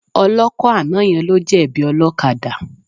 Ọlọ́kọ̀ àná yẹn ló jẹ̀bi ọlọ́kadà.